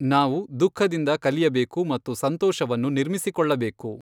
ನಾವು ದುಃಖದಿಂದ ಕಲಿಯಬೇಕು ಮತ್ತು ಸಂತೋಷವನ್ನು ನಿರ್ಮಿಸಿಕೊಳ್ಳಬೇಕು.